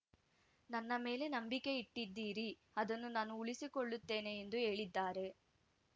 ನನ್ನ ಮೇಲೆ ನಂಬಿಕೆ ಇಟ್ಟಿದ್ದೀರಿ ಅದನ್ನು ನಾನು ಉಳಿಸಿಕೊಳ್ಳುತ್ತೇನೆ ಎಂದು ಹೇಳಿದ್ದಾರೆ